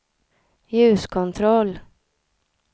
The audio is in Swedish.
ljuskontroll